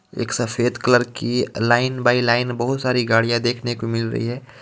एक सफेद कलर की लाइन बाई लाइन बहुत सारी गाड़ियां देखने को मिल रही है.